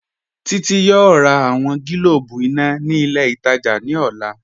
Títí yọọ̀ rà awọn gílòbù iná ni ilẹ̀ itajà ni ọlá